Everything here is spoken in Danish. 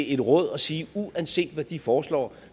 et råd og sige at uanset hvad de foreslår